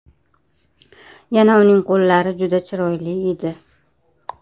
Yana uning qo‘llari juda chiroyli edi.